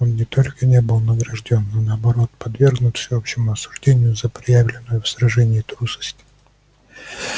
он не только не был награждён но наоборот подвергнут всеобщему осуждению за проявленную в сражении трусость